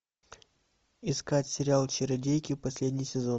искать сериал чародейки последний сезон